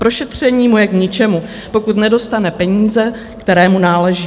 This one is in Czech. Prošetření mu je k ničemu, pokud nedostane peníze, kterému náleží.